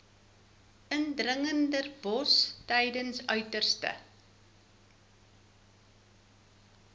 indringerbosse tydens uiterste